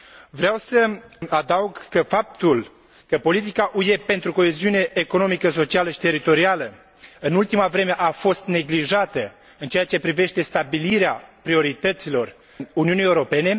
Vreau să adaug că faptul că politica UE pentru coeziune economică, socială și teritorială în ultima vreme a fost neglijată în ceea ce privește stabilirea priorităților Uniunii Europene.